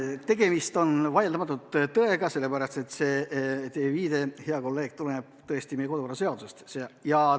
Tegemist on vaieldamatult tõega, sest teie viide, hea kolleeg, tuleneb tõesti meie kodukorraseadusest.